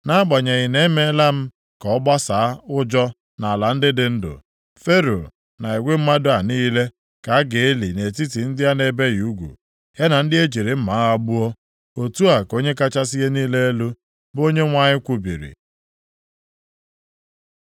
Nʼagbanyeghị na emeela m ka ọ gbasaa ụjọ + 32:32 Maọbụ, ka ụjọ ya dị nʼala ndị dị ndụ, Fero na igwe mmadụ a niile ka a ga-eli nʼetiti ndị a na-ebighị ugwu, ya na ndị ejiri mma agha gbuo. Otu a ka Onye kachasị ihe niile elu, bụ Onyenwe anyị kwubiri.”